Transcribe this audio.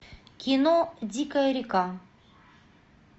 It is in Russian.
кино дикая река